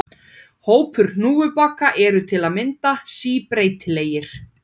Hópar hnúfubaka eru til að mynda síbreytilegir.